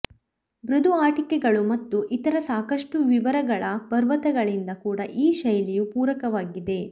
ಮೃದು ಆಟಿಕೆಗಳು ಮತ್ತು ಇತರ ಸಾಕಷ್ಟು ವಿವರಗಳ ಪರ್ವತಗಳಿಂದ ಕೂಡ ಈ ಶೈಲಿಯು ಪೂರಕವಾಗಿದೆ